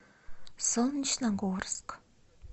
солнечногорск